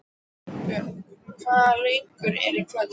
Salbjörg, hvaða leikir eru í kvöld?